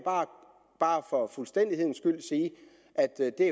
bare for fuldstændighedens skyld sige at det der